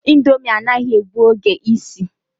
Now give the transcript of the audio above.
Ndomi anaghi egbu oge isi